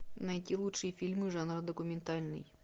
найти лучшие фильмы жанра документальный